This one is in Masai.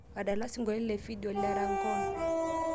adala sinkoliotin la fidio le rangoon